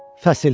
Fəsil.